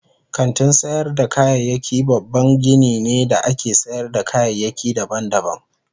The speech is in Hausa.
Kantin sayar da kayayyaki babban gini ne da ake sayar da kayayyaki daban-daban.